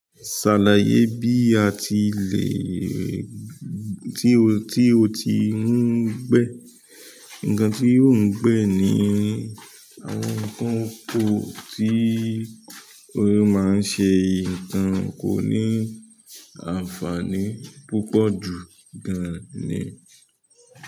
Ṣàlàyé bí a ti lè tí o, tí o ti ń gbẹ́. Ǹkan tí ó ń gbẹ́ ni àwọn nǹkan ọ̀pọ̀ tí ó máa ń ṣe, nǹkan kò ní àǹfààní púpọ̀ jù gan-an ni.